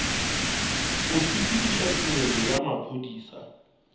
go sepediša tirelo ya maphodisa